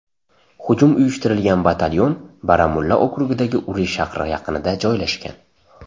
Hujum uyushtirilgan batalyon Baramulla okrugidagi Uri shahri yaqinida joylashgan.